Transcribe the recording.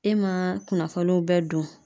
E ma kunnafoniw bɛɛ don.